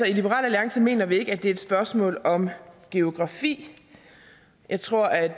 liberal alliance mener vi ikke at det er et spørgsmål om geografi jeg tror at